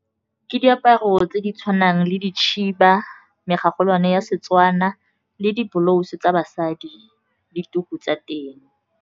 Ke diaparo tse di tshwanang le dikhiba, mogogolwane ya Setswana le diblauso tsa basadi, le tuku tsa teng.